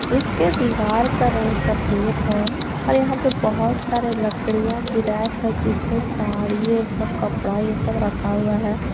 इसके दीवार का रंग सफेद है और यहां पे बहुत सारे लकड़ियाँ की रैक है जिस पे साड़ी ये सब कपड़ा ये सब रखा हुआ है।